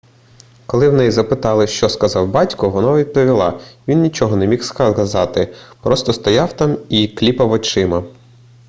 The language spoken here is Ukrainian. коли в неї запитали що сказав батько вона відповіла він нічого не міг сказати просто стояв там і кліпав очима